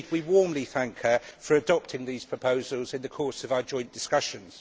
Indeed, we warmly thank her for adopting these proposals in the course of our joint discussions.